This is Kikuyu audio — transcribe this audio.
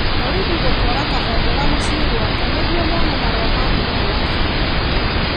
Borithi gũtwara Kabendera mũciĩ gwake nĩguo mone marũa ma kuga nĩ wa bũrũri ũrĩkũ.